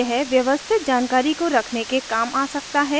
यह व्यवस्थित जानकारी को रखने के काम आ सकता है